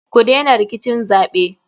Kudena rikicin zaɓe.